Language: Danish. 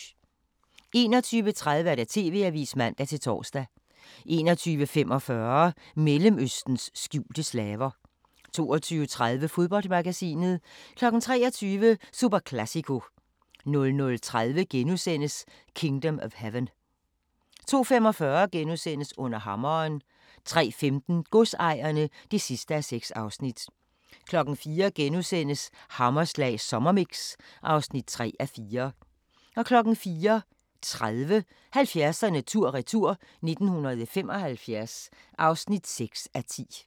21:30: TV-avisen (man-tor) 21:45: Mellemøstens skjulte slaver 22:30: Fodboldmagasinet 23:00: Superclásico 00:30: Kingdom of Heaven * 02:45: Under hammeren * 03:15: Godsejerne (6:6) 04:00: Hammerslag sommermix (3:4)* 04:30: 70'erne tur-retur: 1975 (6:10)